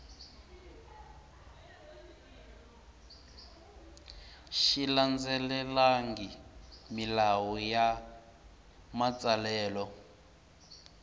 xi landzelelangi milawu ya matsalelo